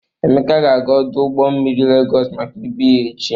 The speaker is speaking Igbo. Emeka ga-aga ọdụ ụgbọ mmiri Legọs maka ibu ya echi.